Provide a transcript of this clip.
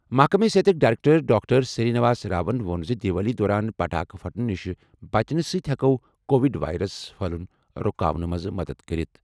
محکمہٕ صحتٕکۍ director doctor Sri Niwas Rawan ووٚن زِ دیوالی دوران پٹاخہٕ پھٹنہٕ نِش بچنہٕ سۭتۍ ہٮ۪کہِ کووِڈ وایرَس پھٔہلُن رُکاونہٕ منٛز مدد کٔرِتھ۔